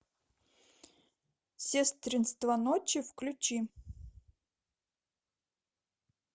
сестринство ночи включи